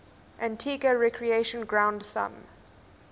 antigua recreation ground thumb